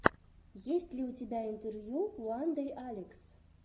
есть ли у тебя интервью уандэйалекс